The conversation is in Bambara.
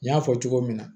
N y'a fɔ cogo min na